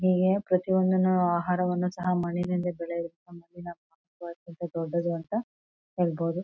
ಹೀಗೆ ಪ್ರತಿ ಒಂದನು ಆಹಾರವನ ಸಹ ಮಣ್ಣಿಂದ ದೊಡ್ಡೋದು ಅಂತ ಹೇಳ್ಬೋದು.